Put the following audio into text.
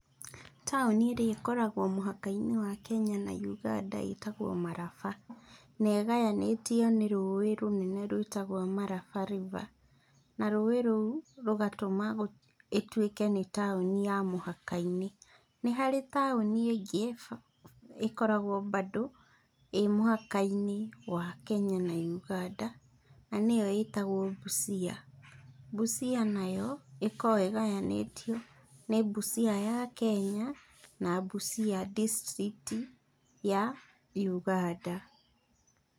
Taũni ĩrĩa ĩkoragwo mũhaka-inĩ wa Kenya na Uganda ĩtagwo Maraba. Na ĩgayanĩtio nĩ rũĩ rũnene rwĩtagwo Maraba river. Na rũĩ rũu rũgatũma ĩtuĩke nĩ taũni ya mũhaka-inĩ. Nĩ harĩ taũni ĩngĩ ĩkoragwo bando ĩ mũhaka-inĩ wa Kenya na Uganda, na nĩyo ĩtagwo Busia. Busia nayo, ĩkoragwo ĩgayanĩtio nĩ Busia ya Kenya, na Busia district ya Uganda.